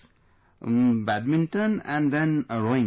......... Badminton and then rowing